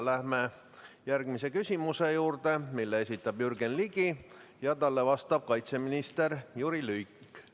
Läheme järgmise küsimuse juurde, mille esitab Jürgen Ligi ja talle vastab kaitseminister Jüri Luik.